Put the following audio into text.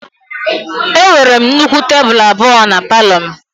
Enwere m nnukwu tebụl abụọ palọ m